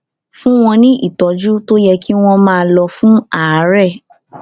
fún wọn ní ìtọjú tó yẹ kí wọn máa lò fún àárẹ